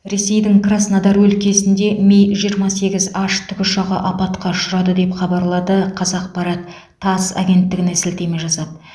ресейдің краснодар өлкесінде ми жиырма сегіз н тікұшағы апатқа ұшырады деп хабарлады қазақпарат тасс агенттігіне сілтеме жасап